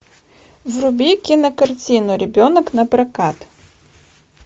вруби кинокартину ребенок напрокат